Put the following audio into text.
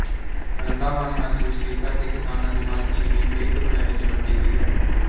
ਰੰਧਾਵਾ ਨੇ ਮਹਿਸੂਸ ਕੀਤਾ ਕਿ ਕਿਸਾਨਾਂ ਦੀ ਮਾਲਕੀ ਜ਼ਮੀਨ ਕਈ ਟੁਕੜਿਆਂ ਵਿੱਚ ਵੰਡੀ ਹੋਈ ਹੈ